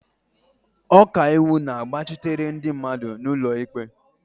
Ọkaiwu na-agbachitere ndị mmadụ n'ụlọ ikpe.